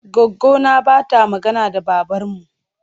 Goggona ba ta magana da babarmu.